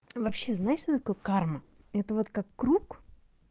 вообще знаешь что такое карма это вот как круг